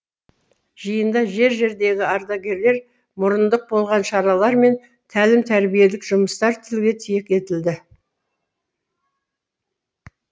жиында жер жердегі ардагерлер мұрындық болған шаралар мен тәлім тәрбиелік жұмыстар тілге тиек етілді